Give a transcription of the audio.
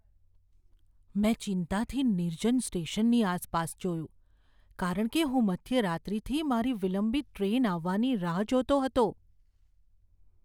મેં ચિંતાથી નિર્જન સ્ટેશનની આસપાસ જોયું કારણ કે હું મધ્યરાત્રિથી મારી વિલંબિત ટ્રેન આવવાની રાહ જોતો હતો.